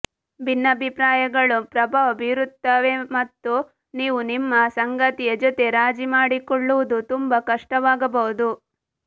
ಭಿನ್ನಾಭಿಪ್ರಾಯಗಳು ಪ್ರಭಾವ ಬೀರುತ್ತವೆಮತ್ತು ನೀವು ನಿಮ್ಮ ಸಂಗಾತಿಯ ಜೊತೆ ರಾಜಿ ಮಾಡಿಕೊಳ್ಳುವುದು ತುಂಬಾ ಕಷ್ಟವಾಗಬಹುದು